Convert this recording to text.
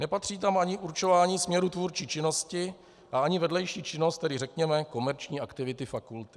Nepatří tam ani určování směru tvůrčí činnosti a ani vedlejší činnost, tedy řekněme komerční aktivity fakulty.